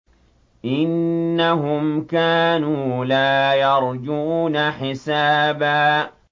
إِنَّهُمْ كَانُوا لَا يَرْجُونَ حِسَابًا